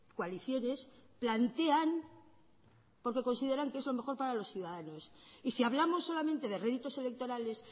coaliciones plantean porque consideran que es lo mejor para los ciudadanos y si hablamos solamente de réditos electorales